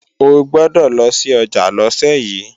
O gbọ́dọ̀ lọ sí ọjà lọ́sẹ̀ yí!